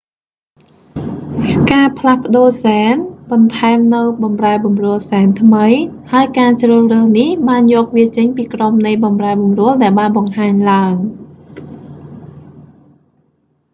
ការផ្លាស់ប្តូរហ្សែន បន្ថែមនូវបម្រែបម្រួលហ្សែនថ្មី ហើយការជ្រើសរើសនេះបានយកវាចេញពីក្រុមនៃបម្រែបម្រួលដែលបានបង្ហាញឡើង